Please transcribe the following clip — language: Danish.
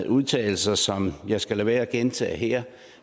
udtalelser som jeg skal lade være med at gentage her